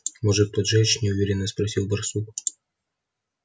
может поджечь неуверенно спросил барсук